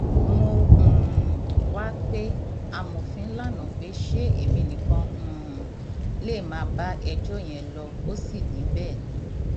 mo um wáá pe amọfin lànà pé ṣé èmi nìkan um lè má bá ẹjọ yẹn lọ ó sì ní bẹẹ ni